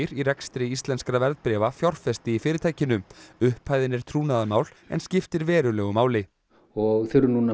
í rekstri íslenskra verðbréfa fjárfesti í fyrirtækinu upphæðin er trúnaðarmál en skiptir verulegu máli og þurfum nú að